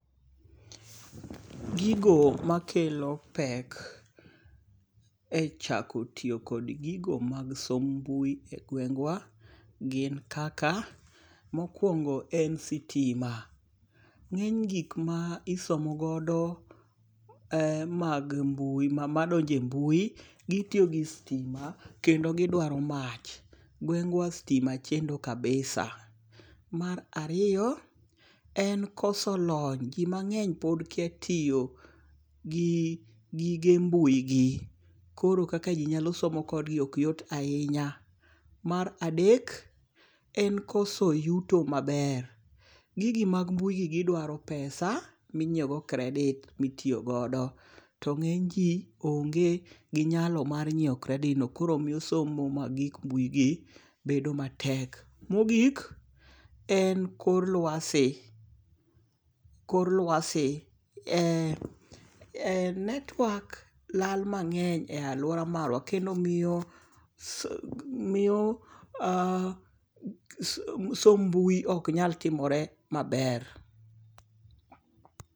Gigo ma kelo pek, e chako tiyo kod gigo mag somb mbuyi e gweng'wa, mokuongo' en sitima, nge' ny gik ma isomogodo e mag mbuyi mandonje mbui gitiyo gi stima kendo gidwaro mach, ng'wengwa stima chendo kabisa, mar ariyo en koso lony jin mange'ny pod kia tiyo gi gige mbuyi gi koro kaka ji nyalo somo kodgi ok yot ahinya, mara dek en koso yuto maber, gigi mag mbui gi gidwaro pesa minyiewo go kredit mitiyogodo to nge'ny ji onge' gi nyalo mar nyiewogo kredit ma itiyogod to nge'ny ji to onge' gi nyalo mar nyiwo kreditno koro miyo osomo mana gik mbuigi mendo matek, mogik en kor luase , korluase en network lal mange'ny e aluora marwa kendo miyo somb mbuyi oknyal timore maber.